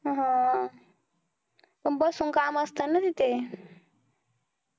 हम्म पण बसून काम असत ना तिथं